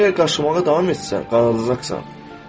Əgər qaşımağa davam etsən, qanadacaqsan.